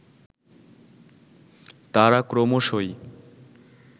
তারা ক্রমশই